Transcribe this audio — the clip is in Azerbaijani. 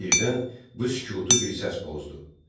Birdən bu sükutu bir səs pozdu.